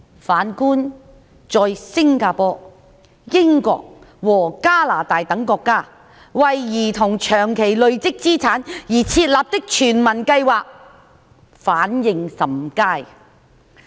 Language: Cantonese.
反觀在新加坡、英國及加拿大等國家，為兒童長期累積資產而設立的全民計劃反應甚佳。